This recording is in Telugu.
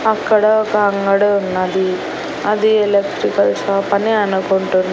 అక్కడ ఒక అంగడి ఉన్నది అది ఎలక్ట్రికల్ షాప్ అని అనుకుంటున్నా.